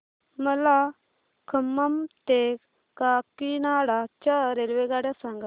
मला खम्मम ते काकीनाडा च्या रेल्वेगाड्या सांगा